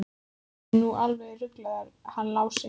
Hann er nú alveg ruglaður hann Lási.